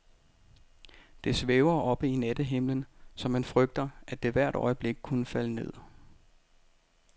Det svæver oppe i nattehimlen, så man frygter, at det hvert øjeblik kunne falde ned.